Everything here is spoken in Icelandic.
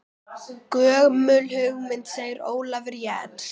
Gömul hugmynd segir Ólafur Jens.